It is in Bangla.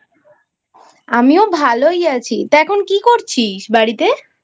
আমিও ভালোই আছি তা এখন কি করছিস বাড়িতে?